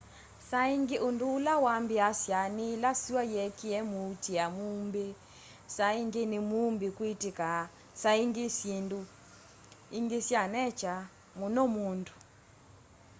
saa ingi undu ula wambiiasya ni ila sua yeekia muutia muumbi saa ingi ni muumbi kwitika saa ingi syindu ingi sya nature muno mundu